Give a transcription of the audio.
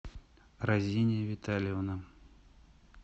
разиния витальевна